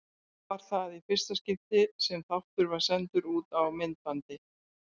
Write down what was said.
Var það í fyrsta skipti sem þáttur var sendur út á myndbandi.